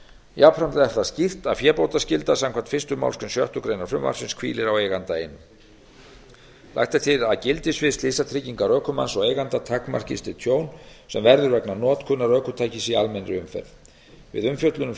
jafnframt er það skýrt að fébótaskylda samkvæmt fyrstu málsgrein sjöttu greinar frumvarpsins hvílir á eiganda einum lagt er til að gildissvið slysatryggingar ökumanns og eiganda takmarkist við tjón sem verður vegna notkunar ökutækis í almennri umferð við umfjöllun um